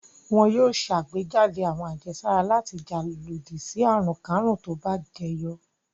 Wọn yóò ṣàgbéjáde àwọn àjẹsára láti jà lòdì sí àrùnkárùn tó bá jẹyọ.